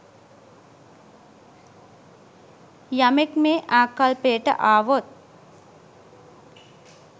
යමෙක් මේ ආකල්පයට ආවොත්